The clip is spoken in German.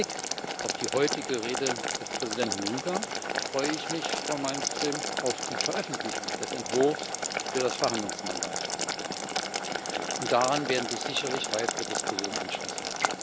Mit Blick auf die heutige Rede des Präsidenten Juncker freue ich mich, Frau Malmström, auf die Veröffentlichung des Entwurfs für das Verhandlungsmandat, und daran werden sich sicherlich weitere Diskussionen anschließen.